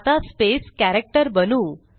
आता space character बनवू